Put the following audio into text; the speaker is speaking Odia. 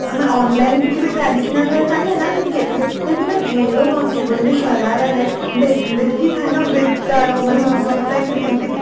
ଆମର online କିଛି ବି traditional dress ନା ସେ ସେତେ ବି ନା ଘେର ନଥିବ ଯେମତି ସରାରା ରେ ବେ ବେଶୀ ଥାଏ ନା wait ତାର